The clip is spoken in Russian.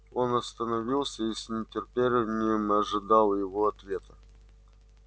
он остановился и с трепетом ожидал её ответа